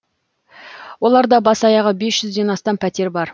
оларда бас аяғы бес жүзден астам пәтер бар